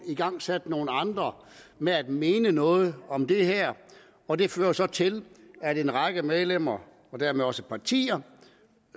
igangsat nogle andre med at mene noget om det her og det fører så til at en række medlemmer dermed også partier